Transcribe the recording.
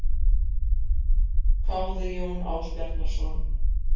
hváði Jón Ásbjarnarson.